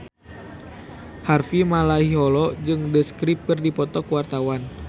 Harvey Malaiholo jeung The Script keur dipoto ku wartawan